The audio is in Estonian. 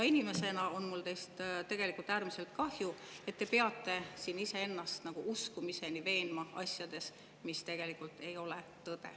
Inimesena on mul teist tegelikult äärmiselt kahju, et te peate siin iseennast nagu uskumiseni veenma asjades, mis tegelikult ei ole tõde.